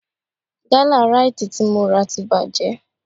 Gálà Ráìtì tí mo rà ti bàjẹ́